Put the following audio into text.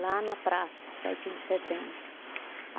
Lá na praça, Sete de Setembro.